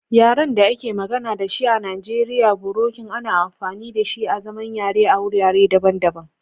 Yaren da ake magana da shi a Najeriya, birokin ana amfani da shi azaman yare a wurare daban-daban.